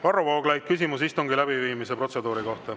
Varro Vooglaid, küsimus istungi läbiviimise protseduuri kohta.